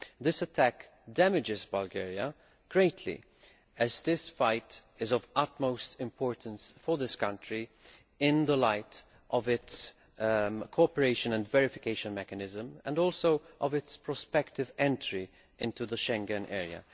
This attack damages Bulgaria greatly, as this fight is of utmost importance for this country in the light of its cooperation and verification mechanism and also of its prospective entry into the Schengen area.